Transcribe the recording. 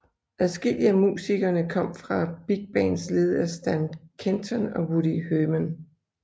Adskillige af musikerne kom fra big bands ledet af Stan Kenton og Woody Herman